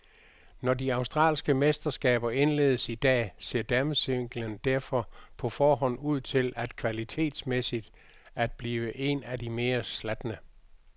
Når de australske mesterskaber indledes i dag, ser damesinglen derfor på forhånd ud til kvalitetsmæssigt at blive en af de mere slatne.